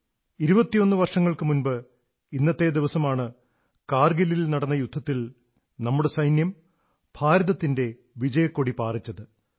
21 വർഷങ്ങൾക്കു മുമ്പ് ഇന്നത്തെ ദിവസമാണ് കാർഗിലിൽ നടന്ന യുദ്ധത്തിൽ നമ്മുടെ സൈന്യം ഭാരതത്തിന്റെ വിജയക്കൊടി പാറിച്ചത്